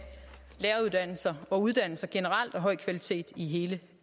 læreruddannelser og uddannelser generelt af høj kvalitet i hele